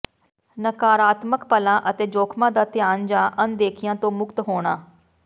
ਨਕਾਰਾਤਮਕ ਪਲਾਂ ਅਤੇ ਜੋਖਮਾਂ ਦਾ ਧਿਆਨ ਜਾਂ ਅਣਦੇਖਿਆ ਤੋਂ ਮੁਕਤ ਹੋਣਾ